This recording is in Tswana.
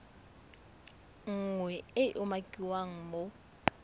nngwe e e umakiwang mo